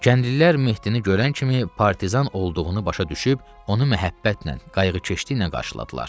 Kəndlilər Mehdini görən kimi partizan olduğunu başa düşüb onu məhəbbətlə, qayğıkeşliklə qarşıladılar.